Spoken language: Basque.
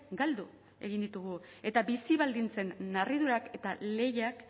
galdu egin ditugu eta bizi baldintzen narriadurak eta lehiak